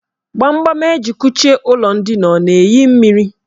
Gbamgbam eji kuchie ụlọ ndina ọ na-eyi mmiri?